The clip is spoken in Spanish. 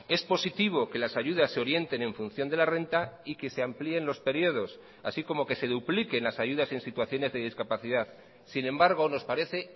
es positivo que las ayudas se orienten en función de la renta y que se amplíen los periodos así como que se dupliquen las ayudas en situaciones de discapacidad sin embargo nos parece